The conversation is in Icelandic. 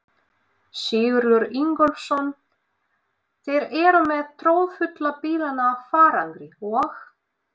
Sigurður Ingólfsson: Þeir eru með troðfulla bílana af farangri og?